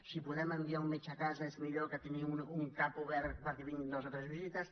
si podem enviar un metge a casa és millor que tenir un cap obert perquè vinguin dues o tres visites